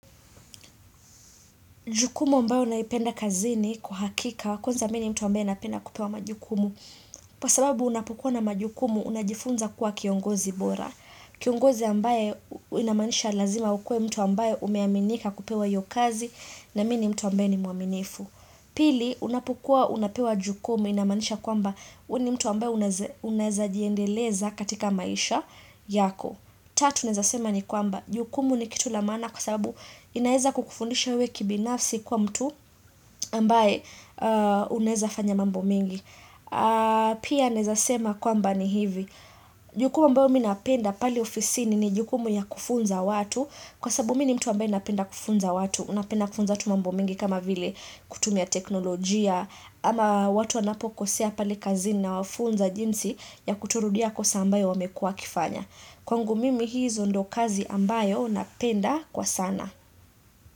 Jukumu ambayo naipenda kazini kwa hakika kwanza mi ni mtu ambaye napina kupewa majukumu. Kwa sababu unapokuwa na majukumu unajifunza kuwa kiongozi bora. Kiongozi ambaye inamanisha lazima ukuwe mtu ambaye umeaminika kupewa hiyo kazi na mi ni mtu ambaye ni mwaminifu. Pili unapokuwa unapewa jukumu inamaanisha kwamba we ni mtu ambaye unaeza jiendeleza katika maisha yako. Tatu naeza sema ni kwamba. Jukumu ni kitu la maana kwa sababu inaeza kukufundisha wewe kibinafsi kuwa mtu ambaye uneza fanya mambo mingi. Pia nezasema kwamba ni hivi. Jukumu ambayo mi napenda pale ofisini ni jukumu ya kufunza watu. Kwa sababu mi ni mtu ambaye napenda kufunza watu. Napenda kufunza watu mambo mingi kama vile kutumia teknolojia. Ama watu wanapokosea pale kazini nawafunza jinsi ya kutorudia kosa ambayo wamekuwa wakifanya. Kwangu mimi hizo ndo kazi ambayo napenda kwa sana.